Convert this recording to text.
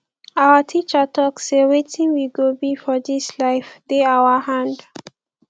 our teacher talk sey wetin we go be for dis life dey our hand